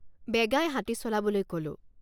বেগাই হাতী চলাবলৈ কলোঁ।